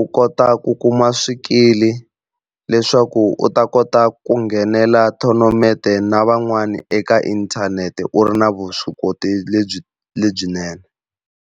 u kota ku kuma swikili leswaku u ta kota ku nghenela tournament na van'wani eka inthanete u ri na vuswikoti lebyi lebyinene.